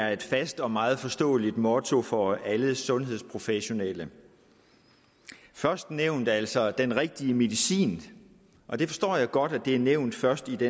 er et fast og meget forståeligt motto for alle sundhedsprofessionelle det førstnævnte er altså den rigtige medicin og det forstår jeg godt er nævnt først i det